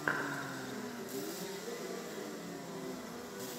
включи первую серию кэмерона далласа